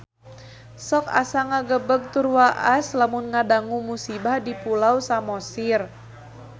Sok asa ngagebeg tur waas lamun ngadangu musibah di Pulau Samosir